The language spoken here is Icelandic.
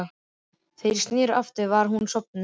Þegar ég sneri aftur var hún sofnuð.